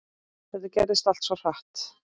Þetta gerðist allt svo hratt.